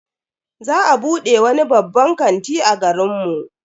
Za a bude wani babban kanti a garin mu.